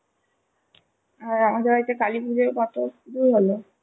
হ্যাঁ আমাদের বাড়িতে কালিপুজোর তারপরে কী হলো?